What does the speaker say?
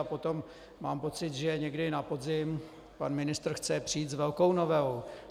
A potom mám pocit, že někdy na podzim pan ministr chce přijít s velkou novelou.